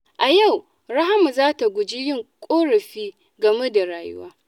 A yau, Rahama za ta guji yin ƙorafi game da rayuwa.